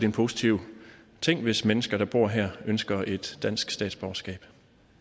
en positiv ting hvis mennesker der bor her ønsker et dansk statsborgerskab